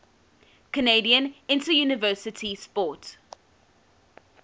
canadian interuniversity sport